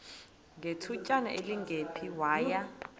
ngethutyana elingephi waya